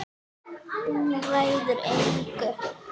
Hún ræður engu.